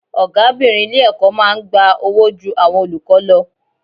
Ọ̀gábìnrin ilé-ẹ̀kọ́ máa ń gba owó ju àwọn olùkọ́ lọ.